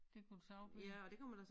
Det kunne det sagtens være